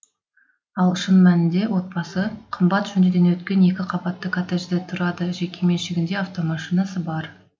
ал шын мәнінде отбасы қымбат жөндеуден өткен екі қабатты коттеджде тұрады жеке меншігінде автомашинасы бар